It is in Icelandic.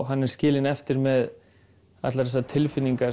hann er skilinn eftir með allar þessar tilfinningar